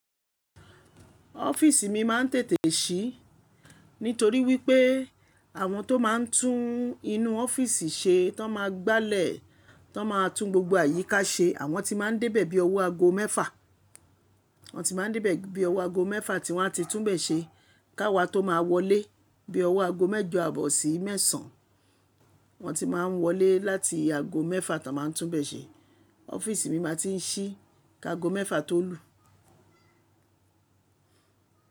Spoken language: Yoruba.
Ọ́fíìsì mi máa ń tètè sí nítorí wípé àwọn tó máa ń tún inú ọ́fíìsì ṣe tó máa gbàlẹ̀ tó máa tún gbogbo àyíká ṣe àwọn ti máa ń débẹ̀ bí owó aago mẹ́fà. Wọ́n ti máa ń dé bẹ̀ bí owó aago mẹ́fà tí wọ́n á ti tún bẹ̀ ṣe ká wa tó máa wọlé bí owó aago mẹ́jọ àbọ̀sí mẹ́sàn-án. Wọ́n ti máa ń wọlé láti aago mẹ́fà tá a máa tún bẹ̀ ṣe. Ọ́fíìsì mi máa tí ń ṣí ká aago mẹ́fà tó lù.